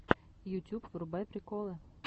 ютюб врубай приколы